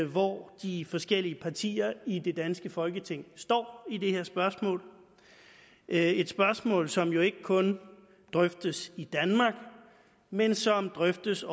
hvor de forskellige partier i det danske folketing står i det her spørgsmål det er et spørgsmål som jo ikke kun drøftes i danmark men som drøftes